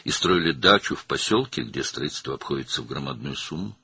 və tikintinin böyük xərclərə başa gəldiyi bir kənddə bağ evi tikirdiniz.